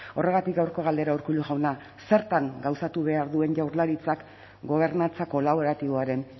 horregatik gaurko galdera urkullu jauna zertan gauzatu behar duen jaurlaritzak gobernantza kolaboratiboaren